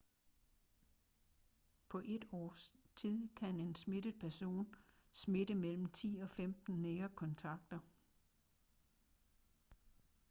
på et års tid kan en smittet person smitte mellem 10 og 15 nære kontakter